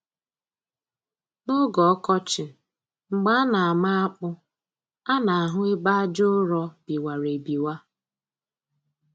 N'oge ọkọchị mgbe a na-ama akpụ a na-ahụ ebe aja ụrọ biwara ebiwa